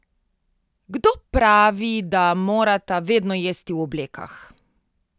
Kdo pravi, da morata vedno jesti v oblekah?